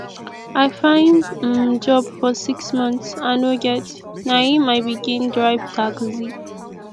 i find um job for six months i no get na im i begin drive taxi